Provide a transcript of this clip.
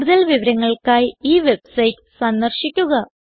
കൂടുതൽ വിവരങ്ങൾക്കായി ഈ വെബ്സൈറ്റ് സന്ദർശിക്കുക